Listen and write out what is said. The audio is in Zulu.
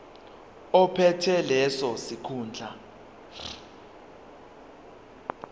ophethe leso sikhundla